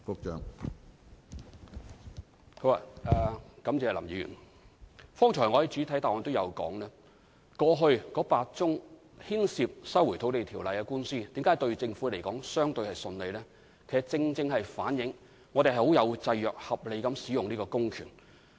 正如我剛才在主體答覆中表示，過去8宗牽涉《收回土地條例》的司法覆核官司，申請人的覆核要求均未被法庭接納，正正反映政府按照法律的制約，合理行使這項公權。